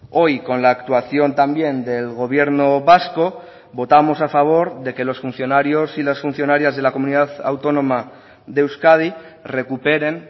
hoy con la actuación también del gobierno vasco votamos a favor de que los funcionarios y las funcionarias de la comunidad autónoma de euskadi recuperen